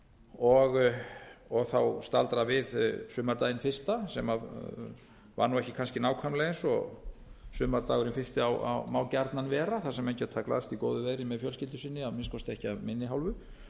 þessu ferli og staldra við sumardaginn fyrsta sem var nú kannski ekki nákvæmlega eins og sumardagurinn fyrsti má gjarnan vera þar sem menn geta glaðst í góðu veðri með fjölskyldu sinni að minnsta kosti ekki af minni hálfu